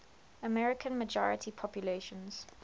american majority populations